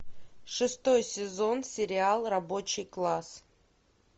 шестой сезон сериал рабочий класс